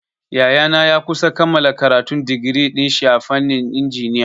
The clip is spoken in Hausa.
Yayana ya kusa kammala karatun digiri dinshi a fannin injiniya.